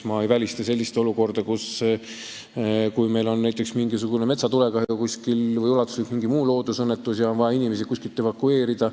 Ma ei välista sellist olukorda, et on näiteks metsatulekahju või mingi muu ulatuslik loodusõnnetus ja on vaja kuskilt inimesi evakueerida.